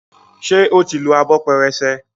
ṣe o tí ló Abọ́ pẹrẹsẹ?